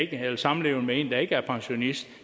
eller samlevende med en der ikke er pensionist